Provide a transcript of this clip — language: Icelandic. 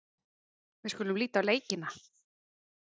Við skulum líta á leikina.